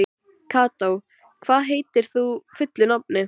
Kató, hvað heitir þú fullu nafni?